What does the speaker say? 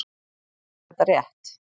Er þetta rétt?